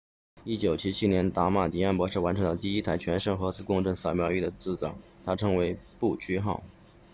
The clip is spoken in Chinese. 1977年达马迪安 damadian 博士完成了第一台全身核磁共振扫描仪的制造他称之为不屈号